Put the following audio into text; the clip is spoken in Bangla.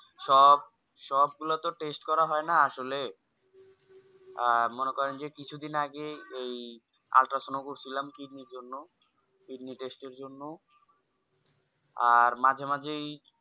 সব সবগুলাতো Test করা হয়না আসলে আহ মনে করেন যে কিছুদিন আগেই এই Ultrasonography করছিলাম কিডনির জন্য কিডনি Test এর জন্য আর মাঝে মাঝেই